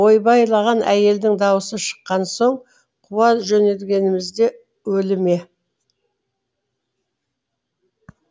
ойбайлаған әйелдің даусы шыққан соң қуа жөнелгеніміз де өлі ме